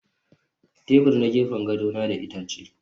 Tebur na gefen gado na da itace